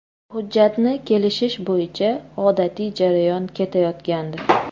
Hujjatni kelishish bo‘yicha odatiy jarayon ketayotgandi.